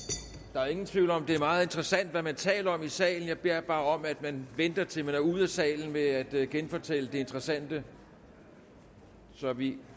der er ingen tvivl om at det er meget interessant hvad man taler om i salen jeg beder bare om at man venter til man er ude af salen med at genfortælle det interessante så vi